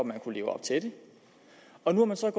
man kunne leve op til den og nu er man så i